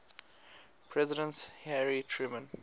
president harry truman